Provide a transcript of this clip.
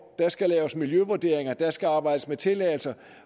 der skal laves miljøvurdering der skal arbejdes med tilladelser